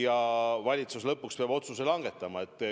Ja valitsus lõpuks peab otsuse langetama.